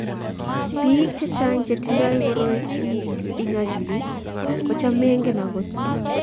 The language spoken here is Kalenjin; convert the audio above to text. Pik chechang che tindoi koroi ing akilit kocham mengen angot.